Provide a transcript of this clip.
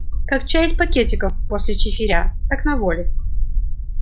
как чай из пакетиков после чифиря так на воле